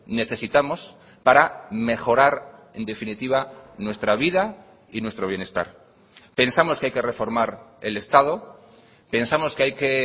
necesitamos para mejorar en definitiva nuestra vida y nuestro bienestar pensamos que hay que reformar el estado pensamos que hay que